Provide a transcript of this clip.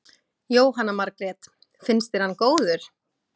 Jóhanna Margrét: Finnst þér hann góður?